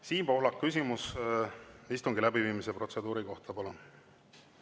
Siim Pohlak, küsimus istungi läbiviimise protseduuri kohta, palun!